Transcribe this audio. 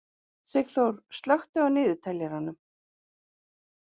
Sigþór, slökktu á niðurteljaranum.